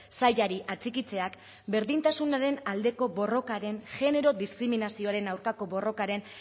sailari atxikitzeak berdintasunaren aldeko borrokaren genero diskriminazioaren aurkako borrokaren